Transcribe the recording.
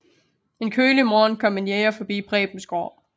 En kølig morgen kommer en jæger forbi Prebens gård